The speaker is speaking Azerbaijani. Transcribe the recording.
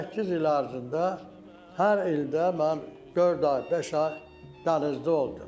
Səkkiz il ərzində hər ildə mən dörd ay, beş ay dənizdə oldum.